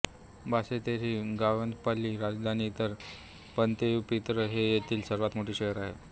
Basseterre ही ग्वादेलोपची राजधानी तर प्वेंतएपित्र हे येथील सर्वात मोठे शहर आहे